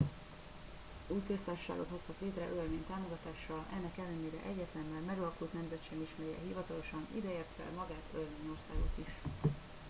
új köztársaságot hoztak létre örmény támogatással ennek ellenére egyetlen már megalakult nemzet sem ismeri el hivatalosan ide értve magát örményországot is